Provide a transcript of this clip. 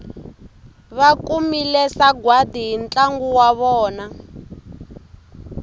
vakumile sagwadi hi ntlangu wa vona